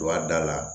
Don a da la